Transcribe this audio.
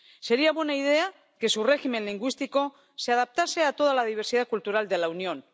Sería buena idea que su régimen lingüístico se adaptase a toda la diversidad cultural de la Unión.